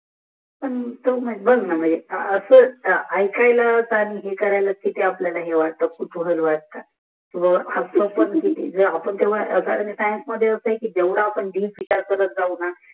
अस ऐकायला हे करायला किती आपल्याला हे वठत आपण तीह सायन मध्ये अस आहे जेवडा आपण दीप विचा र करत जाऊ न